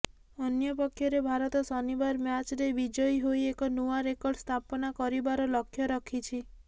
ଅନ୍ୟପକ୍ଷରେ ଭାରତ ଶନିବାର ମ୍ୟାଚରେ ବିଜୟୀ ହୋଇ ଏକ ନୂଆ ରେକର୍ଡ ସ୍ଥାପନା କରିବାର ଲକ୍ଷ୍ୟ ରଖିଛି